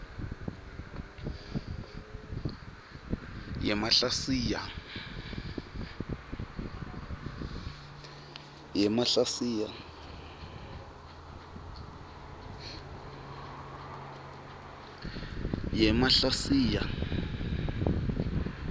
yemahlasiya